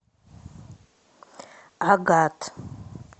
агат